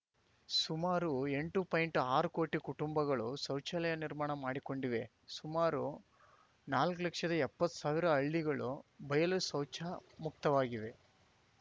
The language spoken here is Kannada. ಸುಮಾರು ಎಂಟು ಪಾಯಿಂಟ್ಆರು ಕೋಟಿ ಕುಟುಂಬಗಳು ಶೌಚಾಲಯ ನಿರ್ಮಾಣ ಮಾಡಿಕೊಂಡಿವೆ ಸುಮಾರು ನಾಲ್ಕು ಲಕ್ಷದಎಪ್ಪತ್ತು ಸಾವಿರ ಹಳ್ಳಿಗಳು ಬಯಲು ಶೌಚಮುಕ್ತವಾಗಿವೆ